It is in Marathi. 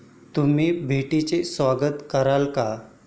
तुम्ही भेटीचे स्वागत कराल का?